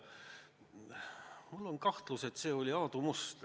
Mul on kahtlus, et see oli äkki Aadu Must.